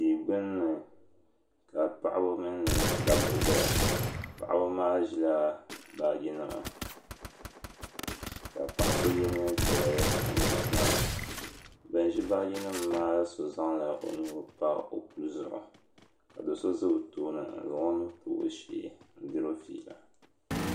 tia gbinni ka paɣaba mini dabba zaya paɣaba maa ʒila baagi nima ka paɣa so ye niɛn piɛlli n ʒi tiŋa ban ʒi baagi nima maa so zaŋla o nuu pa o puli zuɣu ka do'so za o tooni ka zaŋ o nuu n tabi o shee n diri o fiila.